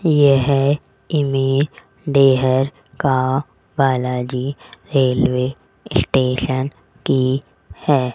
यह इमे डेहर गांव बालाजी रेलवे स्टेशन की है।